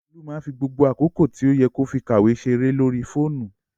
Olú máá ń fi gbogbo àkókò tí ó yẹ kó fi kàwé ṣeré lórí fóònù